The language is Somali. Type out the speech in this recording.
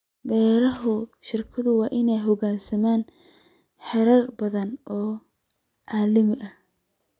Beeraha shirkaduhu waa inay u hoggaansamaan xeerar badan oo caalami ah.